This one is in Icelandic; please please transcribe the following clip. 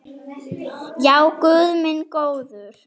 Já, guð minn góður.